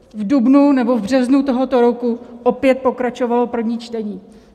V dubnu nebo v březnu tohoto roku opět pokračovalo první čtení.